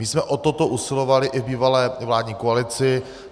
My jsme o toto usilovali i v bývalé vládní koalici.